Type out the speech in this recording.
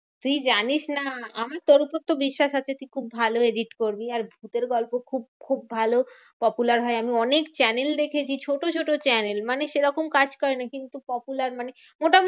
তুই জানিস না আমি তোর উপর তো বিশ্বাস আছে তুই খুব ভালো edit করবি। আর ভুতের গল্প খুব খুব ভালো popular হয়। আমি অনেক channel দেখেছি ছোট ছোট channel মানে সেরকম কাজ করে না, কিন্তু popular মানে মোটামুটি